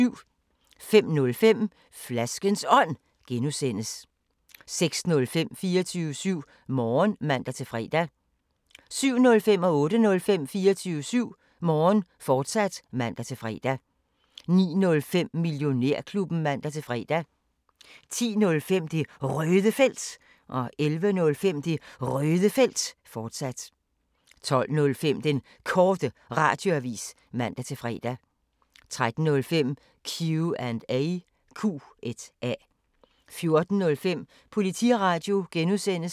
05:05: Flaskens Ånd (G) 06:05: 24syv Morgen (man-fre) 07:05: 24syv Morgen, fortsat (man-fre) 08:05: 24syv Morgen, fortsat (man-fre) 09:05: Millionærklubben (man-fre) 10:05: Det Røde Felt 11:05: Det Røde Felt, fortsat 12:05: Den Korte Radioavis (man-fre) 13:05: Q&A 14:05: Politiradio (G)